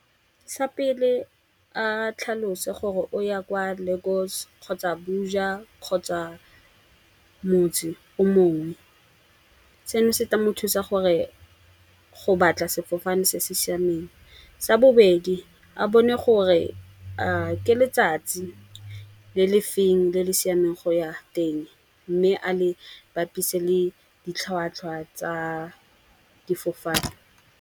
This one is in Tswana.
Sa pele, a tlhalose gore o ya kwa Lagos kgotsa Buja kgotsa motse o mongwe. Seno se tla mo thusa gore go batla sefofane se se siameng. Sa bobedi, a bone gore a ke letsatsi le lefeng le le siameng go ya teng. Mme a le bapise le ditlhwatlhwa tsa difofane.